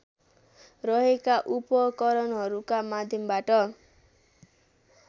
रहेका उपकरणहरूका माध्यमबाट